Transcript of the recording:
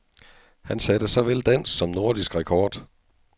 Han satte såvel dansk som nordisk rekord.